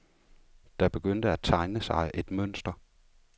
Der begyndte at tegne sig et mønster.